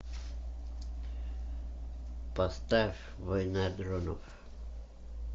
поставь война дронов